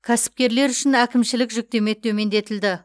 кәсіпкерлер үшін әкімшілік жүктеме төмендетілді